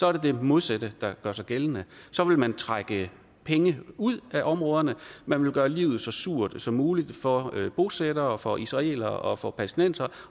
er det det modsatte der gør sig gældende så vil man trække penge ud af områderne og man vil gøre livet så surt som muligt for bosættere og for israelere og for palæstinensere